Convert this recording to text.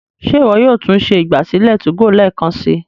Ṣe iwọ yóò tún ṣe ìgbàsílẹ̀ 2go lẹẹkansi?